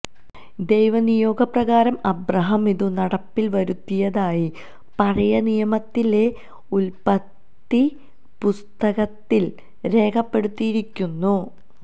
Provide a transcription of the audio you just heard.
ദൈവനിയോഗപ്രകാരം Abraham ഇതു നടപ്പിൽ വരുത്തിയതായി പഴയ നിയമത്തിലെഉൽപ്പത്തിപ്പുസ്തകത്തിൽ രേഖപ്പെടുത്തിയിരിക്കുന്നു